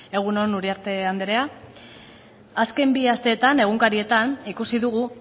egun on uriarte anderea azken bi asteetan egunkarietan ikusi dugu